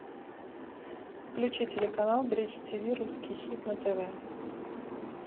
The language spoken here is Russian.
включи телеканал бридж тв русский хит на тв